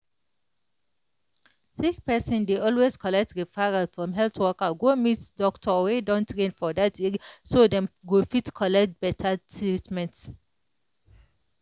sick person dey always collect referral from health worker go meet doctor wey don train for that area so dem go fit get better treatment.